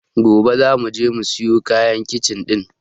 Gobe zamu je mu siyo kayan kicin ɗin.